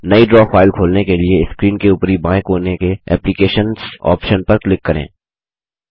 नई draw file खोलने के लिए स्क्रीन के ऊपरी बाएँ कोने के एप्लिकेशंस आप्शन पर क्लिक करें